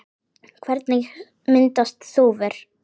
Hvernig myndast þúfur?